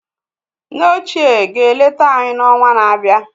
Nne óchiè ga-eleta anyị n’ọnwa na-abịa